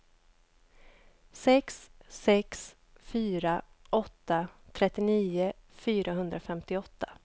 sex sex fyra åtta trettionio fyrahundrafemtioåtta